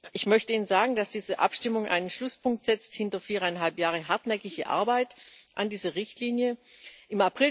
Ich möchte Ihnen sagen, dass diese Abstimmung einen Schlusspunkt hinter viereinhalb Jahre hartnäckige Arbeit an dieser Richtlinie setzt.